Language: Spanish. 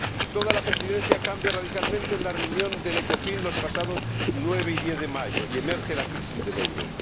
Toda la Presidencia cambia radicalmente en la reunión del Ecofin los pasados 9 y 10 de mayo, y emerge la crisis del euro.